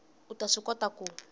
u ta swi kota ku